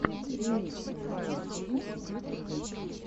ремикс ваилд геймс в ютюбе